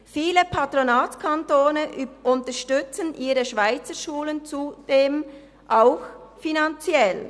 Viele Patronatskantone unterstützen ihre Schweizerschulen zudem auch finanziell.